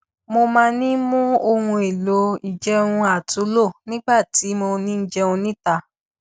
mo máa ń mú ohun èlò ìjẹun àtúnlò nígbà tí mo ń jẹun níta